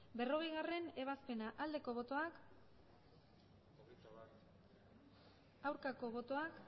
berrogeigarrena ebazpena aldeko botoak aurkako botoak